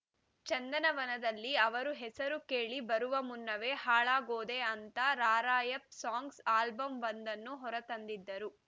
ಚಂದನವನದಲ್ಲಿ ಅವರು ಹೆಸರು ಕೇಳಿ ಬರುವ ಮುನ್ನವೇ ಹಾಳಾಗೋದೆ ಅಂತ ರಾರ‍ಯಪ್‌ ಸಾಂಗ್ಸ್‌ ಆಲ್ಬಂವೊಂದನ್ನು ಹೊರ ತಂದಿದ್ದರು